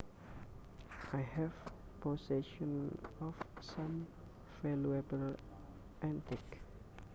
I have possession of some valuable antiques